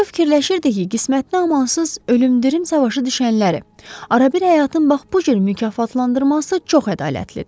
Rö fikirləşirdi ki, qismətin amansız ölümdirim savaşı düşənləri arabir həyatın bax bu cür mükafatlandırması çox ədalətlidir.